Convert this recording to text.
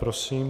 Prosím.